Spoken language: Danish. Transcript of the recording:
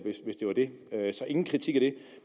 hvis det var det så ingen kritik af det